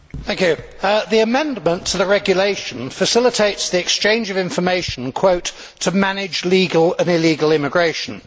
Madam President, the amendment to the regulation facilitates the exchange of information to manage legal and illegal immigration'.